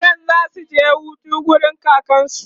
yaran zasu je Hutu wurin kakansu